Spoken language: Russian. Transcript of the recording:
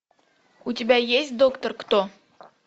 у тебя есть доктор кто